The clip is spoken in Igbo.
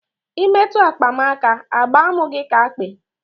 Ị metụ akpa m aka, a gba m gị ka akpị